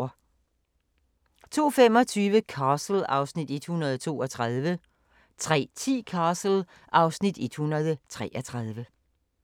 02:25: Castle (Afs. 132) 03:10: Castle (Afs. 133)